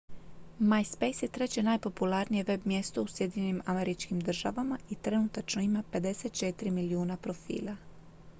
myspace je treće najpopularnije web-mjesto u sjedinjenim američkim državama i trenutačno ima 54 milijuna profila